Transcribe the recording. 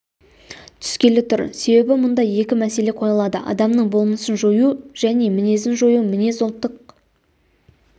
түскелі тұр себебі мұнда екі мәселе қойылады адамның болмысын жою және мінезін жою мінез ұлттық